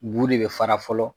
Bu de bɛ fara fɔlɔ